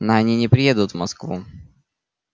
но они не приедут в москву